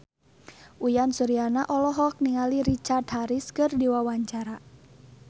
Uyan Suryana olohok ningali Richard Harris keur diwawancara